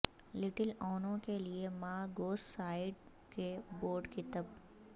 little اونوں کے لئے ماں گوس سائیڈ کے بورڈ کتب